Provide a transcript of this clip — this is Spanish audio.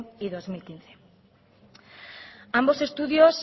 y dos mil quince ambos estudios